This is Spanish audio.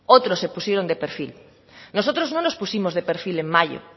otros se pusieron de perfil nosotros no nos pusimos de perfil en mayo